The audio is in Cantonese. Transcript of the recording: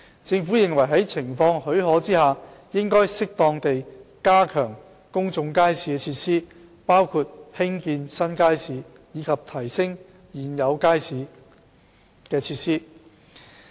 政府認為在情況許可下，應適當地加強公眾街市設施，包括興建新街市及提升現有街市的設施。